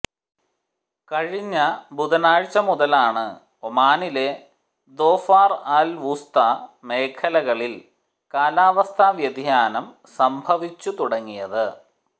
കഴിഞ്ഞ ബുധനാഴ്ച മുതലാണ് ഒമാനിലെ ദോഫാർ അൽ വുസ്ത മേഖലകളിൽ കാലാവസ്ഥാ വ്യതിയാനം സംഭവിച്ചു തുടങ്ങിയത്